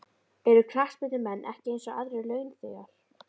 Eru knattspyrnumenn ekki eins og aðrir launþegar?